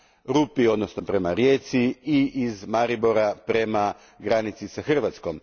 Rupi odnosno Rijeci i iz Maribora prema granici s Hrvatskom.